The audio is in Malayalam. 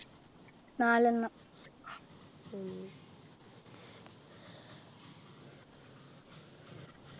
നാലെണ്ണം